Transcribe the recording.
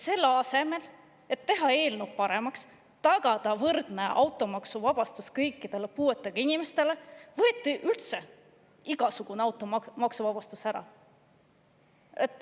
Selle asemel, et teha eelnõu paremaks ja tagada võrdne automaksuvabastus kõikidele puuetega inimestele, üldse igasugune automaksuvabastus ära.